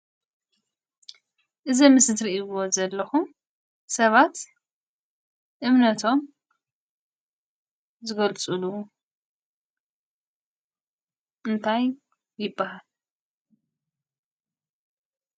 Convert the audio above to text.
እዚ ኣብ ምስሊ እትርእይዎ ዘለኹም ሰባት እምነቶም ዝገልፅሉ እንታይ ይብሃል?